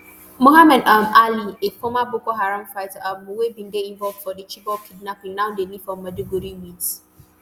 muhammad um alli a former boko haram fighter um wey bin dey involved for di chibok kidnapping now dey live for maiduguri wit